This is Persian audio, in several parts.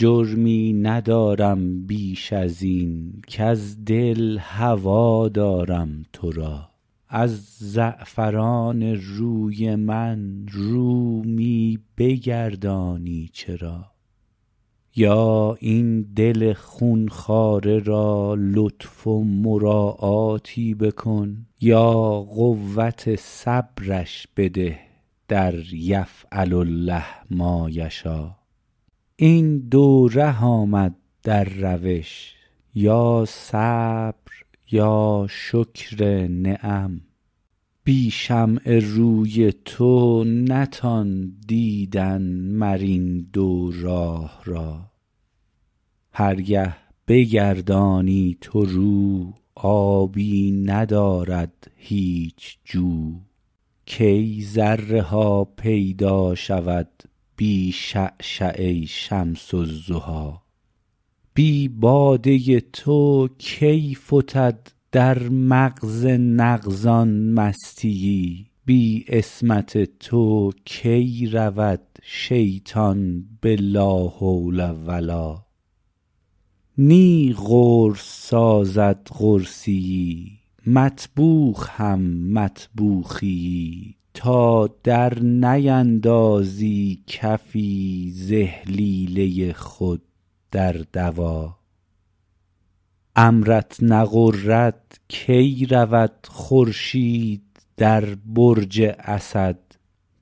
جرمی ندارم بیش از این کز دل هوا دارم تو را از زعفران روی من رو می بگردانی چرا یا این دل خون خواره را لطف و مراعاتی بکن یا قوت صبرش بده در یفعل الله ما یشا این دو ره آمد در روش یا صبر یا شکر نعم بی شمع روی تو نتان دیدن مر این دو راه را هر گه بگردانی تو رو آبی ندارد هیچ جو کی ذره ها پیدا شود بی شعشعه شمس الضحی بی باده تو کی فتد در مغز نغز ان مستی یی بی عصمت تو کی رود شیطان به لا حول و لا نی قرص سازد قرصی یی مطبوخ هم مطبوخی یی تا درنیندازی کفی ز اهلیله خود در دوا امرت نغرد کی رود خورشید در برج اسد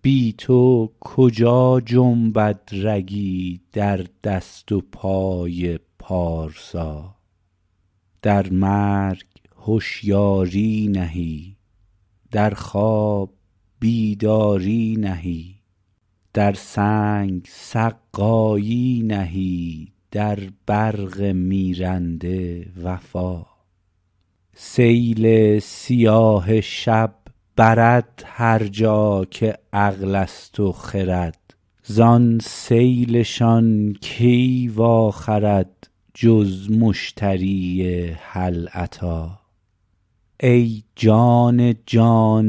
بی تو کجا جنبد رگی در دست و پای پارسا در مرگ هشیاری نهی در خواب بیداری نهی در سنگ سقایی نهی در برق میرنده وفا سیل سیاه شب برد هر جا که عقل است و خرد زان سیل شان کی واخرد جز مشتری هل اتی ای جان جان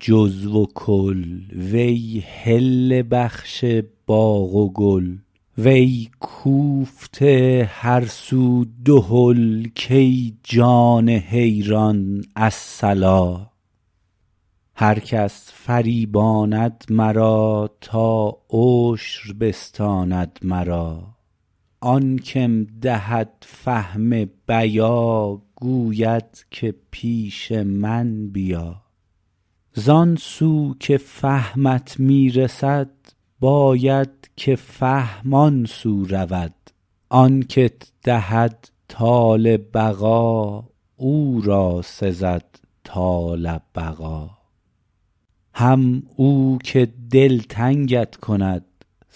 جزو و کل وی حله بخش باغ و گل وی کوفته هر سو دهل کای جان حیران الصلا هر کس فریباند مرا تا عشر بستاند مرا آن که م دهد فهم بیا گوید که پیش من بیا زان سو که فهمت می رسد باید که فهم آن سو رود آن که ت دهد طال بقا او را سزد طال بقا هم او که دلتنگ ت کند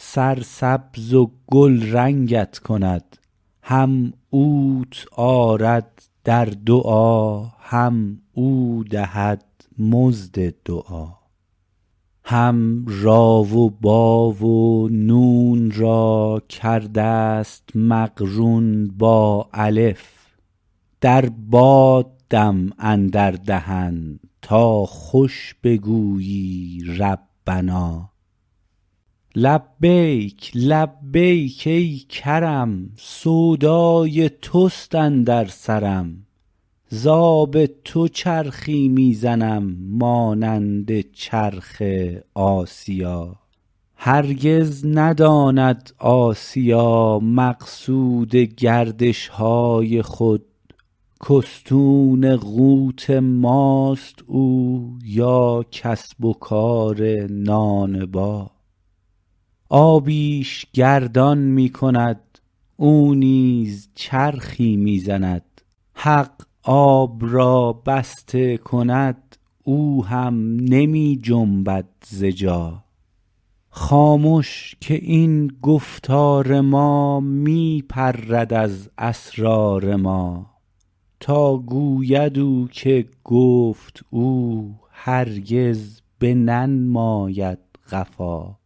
سرسبز و گلرنگ ت کند هم اوت آرد در دعا هم او دهد مزد دعا هم ری و بی و نون را کرده ست مقرون با الف در باد دم اندر دهن تا خوش بگویی ربنا لبیک لبیک ای کرم سودای توست اندر سرم ز آب تو چرخی می زنم مانند چرخ آسیا هرگز نداند آسیا مقصود گردش های خود که استون قوت ماست او یا کسب و کار نانبا آبی ش گردان می کند او نیز چرخی می زند حق آب را بسته کند او هم نمی جنبد ز جا خامش که این گفتار ما می پرد از اسرار ما تا گوید او که گفت او هرگز بننماید قفا